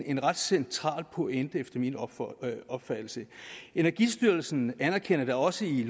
en ret central pointe efter min opfattelse energistyrelsen anerkender da også i